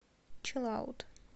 чилаут